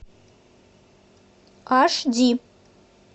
аш ди